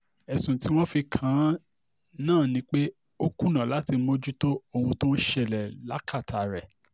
ẹ̀sùn tí wọ́n fi kàn án ni pé ó kùnà láti mójútó ohun tó ń ṣẹlẹ̀ lákàtà rẹ̀